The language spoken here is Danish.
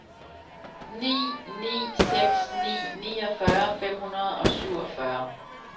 ni ni seks ni niogfyrre fem hundrede og syvogfyrre